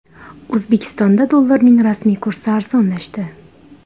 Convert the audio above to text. O‘zbekistonda dollarning rasmiy kursi arzonlashdi .